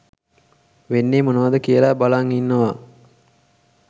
වෙන්නේ මොනවද කියලා බලන් ඉන්නවා